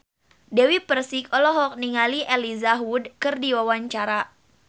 Dewi Persik olohok ningali Elijah Wood keur diwawancara